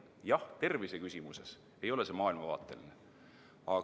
Jah, terviseküsimuses ei ole see maailmavaateline teema.